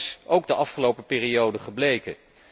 Dat is ook de afgelopen periode gebleken.